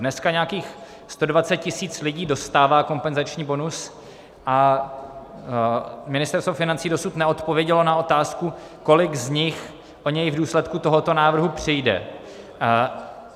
Dneska nějakých 120 tisíc lidí dostává kompenzační bonus a Ministerstvo financí dosud neodpovědělo na otázku, kolik z nich o něj v důsledku tohoto návrhu přijde.